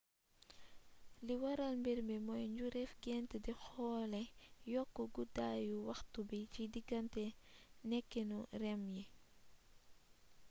li waral mbiir mii mooy njureefi gént di xoole yokk guddaayu waxtu bi ci digganté nekkinu rem yi